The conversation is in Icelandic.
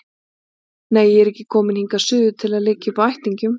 Nei, ég er ekki komin hingað suður til að liggja uppi á ættingjum